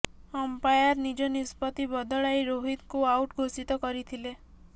umpire ନିଜ ନିଷ୍ପତ୍ତି ବଦଳାଇ ରୋହିତଙ୍କୁ ଆଉଟ୍ ଘୋଷିତ କରିଥିଲେ